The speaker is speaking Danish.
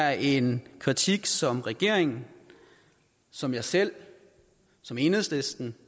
er en kritik som regeringen som jeg selv som enhedslisten